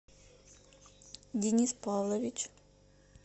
денис павлович